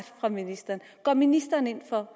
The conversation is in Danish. fra ministeren går ministeren ind for